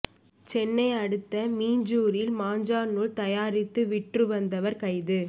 சென்னை அடுத்த மீஞ்சூரில் மாஞ்சா நூல் தயாரித்து விற்று வந்தவர் கைது